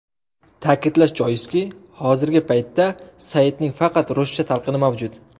Ta’kidlash joiz, hozirgi paytda saytning faqat ruscha talqini mavjud.